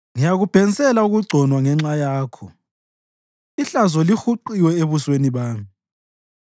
Ngiyakubhensela ukugconwa ngenxa yakho, ihlazo lihuqiwe ebusweni bami.